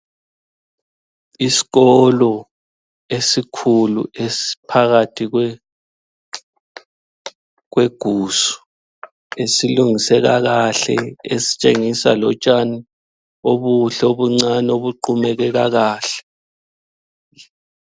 Isikolo esikhulu esiphakathi kwegusu esilungiswe kakahle esitshengisa lotshani obuhle obuncane obuqumeke kakahle